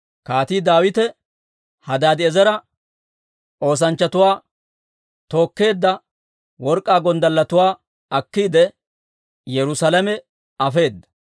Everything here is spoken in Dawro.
Kaatii Daawite Hadaadi'eezera oosanchchatuu tookkeedda work'k'aa gonddalletuwaa akkiide, Yerusaalame afeedda.